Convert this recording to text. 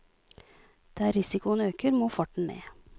Der risikoen øker, må farten ned.